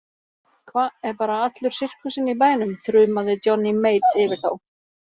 Hva, er bara allur sirkusinn í bænum, þrumaði Johnny Mate yfir þá.